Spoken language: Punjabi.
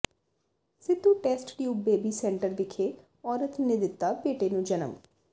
Sidhu test tube baby centre ਵਿਖੇ ਔਰਤ ਨੇ ਦਿੱਤਾ ਬੇਟੇ ਨੂੰ ਜਨਮ